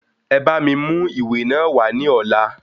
E bá mi mú ìwé náà wá ní ọ̀la.